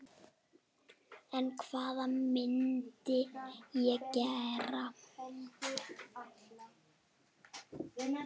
En hvað myndi ég gera?